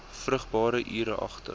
vrugbare ure agter